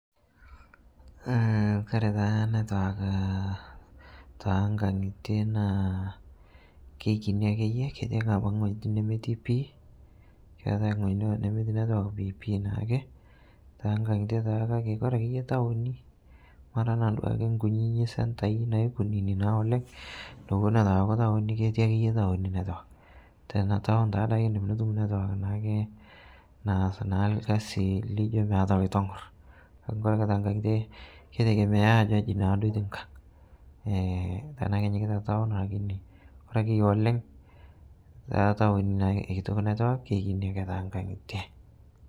kore taa network te nkangite naa keikini akeye ketii abaki nghojitin nemetii pii keatai nghoji duo nemeti network piipii naake tankangite taake kake kore tatowoni otanaa sii duake nkunini centai naikunini naa oleng nowon etu etu eaku tawoni keti akeye tawoni network. tetawon taadake indim nitum network naake naas naa lkazi lijo meata loitongoro kake kore tengangite keitegemea ajo aji naaduo eti nkang tanaa kenyikita tawon lakini kore akeye oleng tetawonu eikitok network keikini akee tenkangitee